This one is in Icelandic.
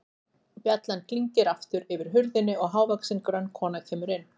Bjallan klingir aftur yfir hurðinni og hávaxin, grönn kona kemur inn.